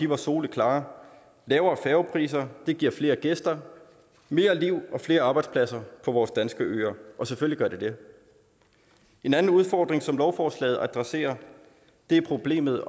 var soleklar lavere færgepriser giver flere gæster mere liv og flere arbejdspladser på vores danske øer og selvfølgelig gør det det en anden udfordring som lovforslaget adresserer er problemet